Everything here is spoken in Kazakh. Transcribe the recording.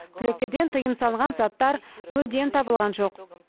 түлектерден тыйым салынған заттар мүлдем табылған жоқ